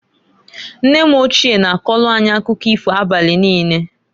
Nne m ochie na-akọlụ anyị akụkọ ifo abali niine.